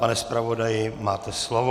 Pane zpravodaji, máte slovo.